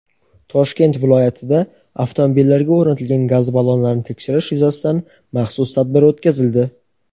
Toshkent viloyatida avtomobillarga o‘rnatilgan gaz ballonlarini tekshirish yuzasidan maxsus tadbir o‘tkazildi.